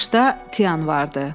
O başda Tian vardı.